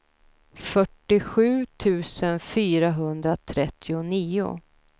fyrtiosju tusen fyrahundratrettionio